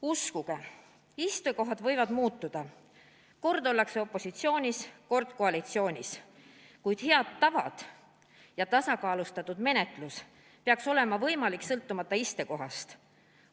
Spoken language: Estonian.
Uskuge, istekohad võivad muutuda, kord ollakse opositsioonis, kord koalitsioonis, kuid head tavad ja tasakaalustatud menetlus peaks olema võimalik sõltumata istekohast.